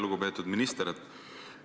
Lugupeetud minister!